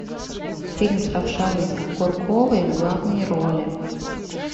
фильм с равшаной курковой в главной роли